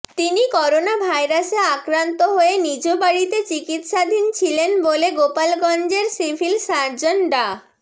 তিনি করোনাভাইরাসে আক্রান্ত হয়ে নিজ বাড়িতে চিকিৎসাধীন ছিলেন বলে গোপালগঞ্জের সিভিল সার্জন ডা